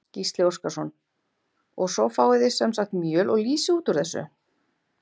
Gísli Óskarsson: Og svo fáið þið sem sagt mjöl og lýsi út úr þessu?